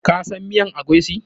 Ka san miyan eguisi?